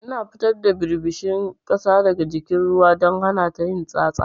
Ina cire ɓirɓishin ƙasa daga jikin ruwan diga don hanata yin tsatsa.